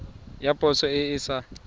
ya poso e e sa